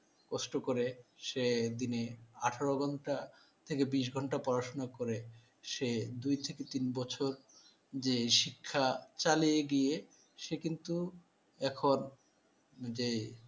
কষ্ট করে। সে দিনে আঠার ঘণ্টা থেকে বিশ ঘণ্টা পড়াশোনা করে, সে দুই থেকে তিন বছর যে শিক্ষা চালিয়ে গিয়ে সে কিন্তু এখন যে